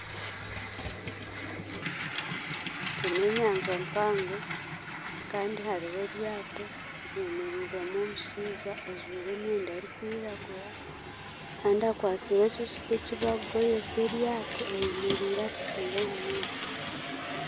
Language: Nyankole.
Egi n'enyanja mpango kandi hariho eryato ryemereirwemu omushaija ajwaire emyenda erkwiragura kandi akwatsire eki ekiti ekibakugoyesa eryato ayemereire akiteire omu maizi.